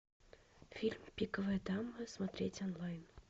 фильм пиковая дама смотреть онлайн